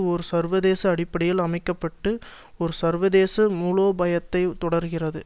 ஒரு சர்வதேச அடிப்படையில் அமைக்க பட்டு ஒரு சர்வதேச மூலோபயத்தைத் தொடர்கிறது